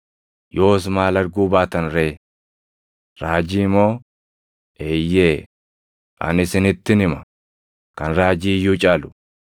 Yoos maal arguu baatan ree? Raajii moo? Eeyyee; ani isinittin hima; kan raajii iyyuu caalu.